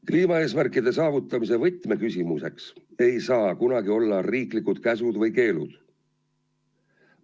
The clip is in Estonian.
Kliimaeesmärkide saavutamise võtmeks ei saa kunagi olla riiklikud käsud või keelud.